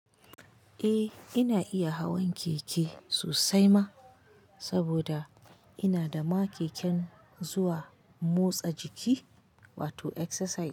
Eh ina iya hawan keke sosai ma, saboda ina da ma keken zuwa motsa jiki wato exercise.